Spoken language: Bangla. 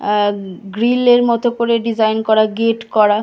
আর গ্রীল এর মতো করে ডিজাইন করা গেট করা।